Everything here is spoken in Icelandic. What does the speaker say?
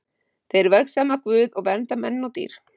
Þeir vegsama Guð og vernda menn og dýr.